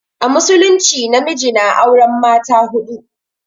A musulumci namiji na auren mata huɗu.